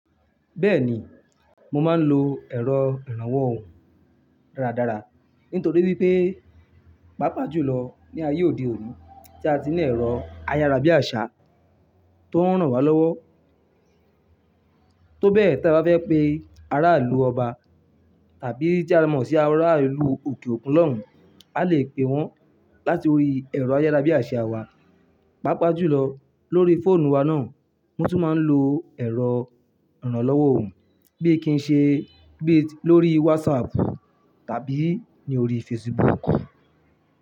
Bẹ́ẹ̀ni, mo máa ń lo ẹ̀rọ ìrànwọ́ òhùn dáradára nítorí wípé, pàápàá jù lọ ní ayé òde òní tí a ti ní ẹ̀rọ ayárabíàṣá tó ń ràn wá lọ́wọ́. Tó bẹ́ẹ̀ tí a bá fẹ́ pé ara ìlú Ọba tàbí tí a mọ̀ sí ara ìlú òkè òkun lọ́hùn, a lè pé wọ́n láti orí ẹ̀rọ ayárabíàṣá wa. Pápá jùlọ lórí fóònù wa náà mo tún máa ń lo ẹ̀rọ ìrànlọ́wọ́ òhùn bí i kí n ṣe bí i lórí WhatsApp tàbí ní orí Facebook.